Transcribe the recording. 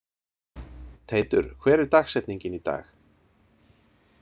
Teitur, hver er dagsetningin í dag?